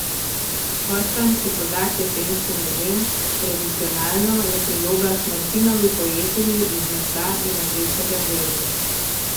Kostanj se poda k jesenskim jedem, tradicionalno je priloga k Martinovi pojedini iz mesa in rdečega zelja.